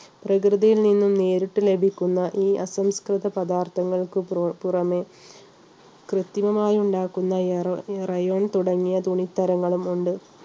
പ്രകൃതിയിൽ നിന്നും നേരിട്ട് ലഭിക്കുന്ന ഈ അസംസ്കൃത പദാർത്ഥങ്ങൾക്ക് പുറമേ കൃത്രിമമായി ഉണ്ടാക്കുന്ന rayon തുടങ്ങിയ തുണിത്തരങ്ങളും ഉണ്ട്.